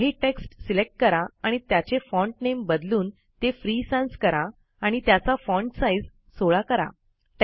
काही text select करा आणि त्याचे फाँट नेम बदलून ते फ्री सॅन्स करा आणि त्याचा फाँट साईज 16 करा